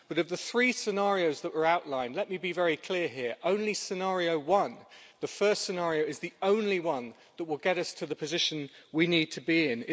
But, of the three scenarios that were outlined let me be very clear here only scenario one, the first scenario, will get us to the position we need to be in.